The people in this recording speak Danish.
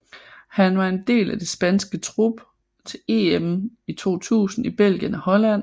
Han var en del af det spanske trup til EM i 2000 i Belgien og Holland